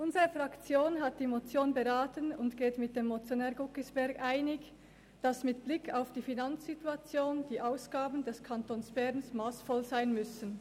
Unsere Fraktion hat die Motion beraten und geht mit dem Motionär Grossrat Guggisberg einig, dass die Ausgaben des Kantons Bern mit Blick auf die Finanzsituation massvoll sein müssen.